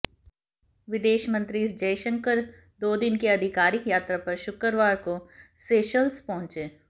विदेश मंत्री एस जयशंकर दो दिन की आधिकारिक यात्रा पर शुक्रवार को सेशल्स पहुंचे